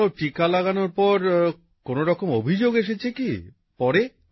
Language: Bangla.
কোথাও টীকা লাগানোর পর কোন রকম অভিযোগ এসেছে কি পরে